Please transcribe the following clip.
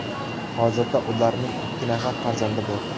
Hozirda ularning ikki nafar farzandi bor.